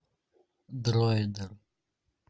дроидер